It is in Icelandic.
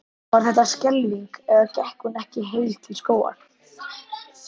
Var þetta skelfing eða gekk hún ekki heil til skógar?